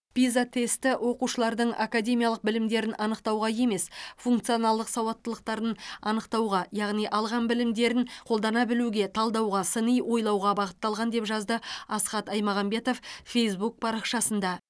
пиза тесті оқушылардың академиялық білімдерін анықтауға емес функционалдық сауаттылықтарын анықтауға яғни алған білімдерін қолдана білуге талдауға сыни ойлауға бағытталған деп жазды асхат аймағамбетов фейзбук парақшасында